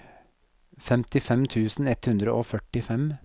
femtifem tusen ett hundre og førtifem